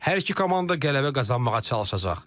Hər iki komanda qələbə qazanmağa çalışacaq.